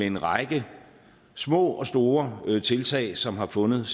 en række små og store tiltag som har fundet